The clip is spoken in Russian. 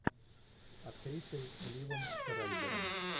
с актрисой ливом шрайбером